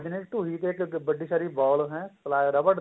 ਬਜਨੇ ਟੁਈ ਤੇ ਇੱਕ ਵੱਡੀ ਸਾਰੀ ball ਹੈ ਰਬੜ ਦੀ